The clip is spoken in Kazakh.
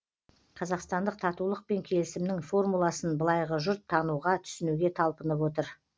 қазақстандық татулық пен келісімнің формуласын былайғы жұрт тануға түсінуге талпынып отыр